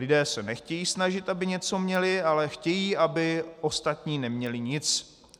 Lidé se nechtějí snažit, aby něco měli, ale chtějí, aby ostatní neměli nic.